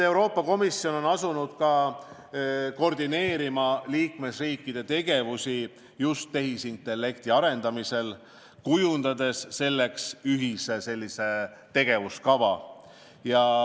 Euroopa Komisjon on asunud koordineerima liikmesriikide tegevust just tehisintellekti arendamisel, kujundades selleks ühise tegevuskava.